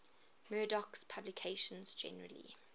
murdoch's publications generally